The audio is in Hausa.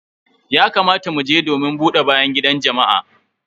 Ya kamata mu je domin buɗe bayan gidan jama'a.